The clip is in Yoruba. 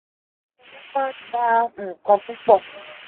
owo ma n gba nkan pupo.”